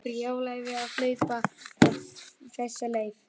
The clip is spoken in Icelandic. Brjálæði að hlaupa alla þessa leið.